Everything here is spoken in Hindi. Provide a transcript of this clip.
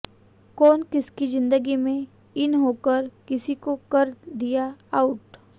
कौन किसकी ज़िंदगी में इन होकर किसी को कर दिया आउट